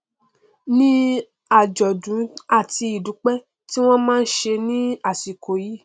ní àjọdún àti ìdúpẹ tí wọn máa nṣe ní àsìkò yìí